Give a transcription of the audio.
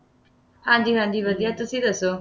ਹਾਂਜੀ ਹਾਂਜੀ ਵਧੀਆ ਤੁਸੀਂ ਦੱਸੋ,